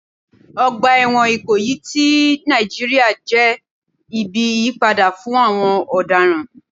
Ọgbà ẹ̀wọ̀n Ikoyi ti Nàìjíríà jẹ́ ibi ìyípadà fún àwọn ọ̀daràn.